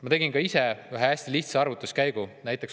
Ma tegin ka ise ühe hästi lihtsa arvutuskäigu.